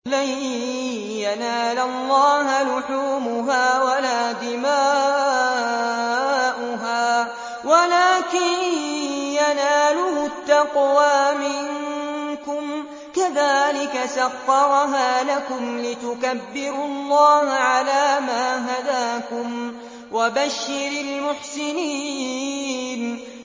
لَن يَنَالَ اللَّهَ لُحُومُهَا وَلَا دِمَاؤُهَا وَلَٰكِن يَنَالُهُ التَّقْوَىٰ مِنكُمْ ۚ كَذَٰلِكَ سَخَّرَهَا لَكُمْ لِتُكَبِّرُوا اللَّهَ عَلَىٰ مَا هَدَاكُمْ ۗ وَبَشِّرِ الْمُحْسِنِينَ